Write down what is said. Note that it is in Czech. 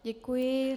Děkuji.